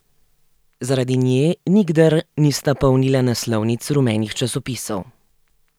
Zaradi nje nikdar nista polnila naslovnic rumenih časopisov.